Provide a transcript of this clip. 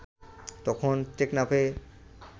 তখন টেকনাফে